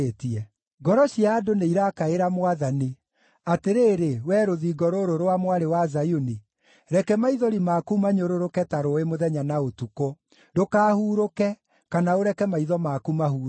Ngoro cia andũ nĩirakaĩra Mwathani. Atĩrĩrĩ, wee rũthingo rũrũ rwa Mwarĩ wa Zayuni, reke maithori maku manyũrũrũke ta rũũĩ mũthenya na ũtukũ; ndũkahurũke, kana ũreke maitho maku mahurũke.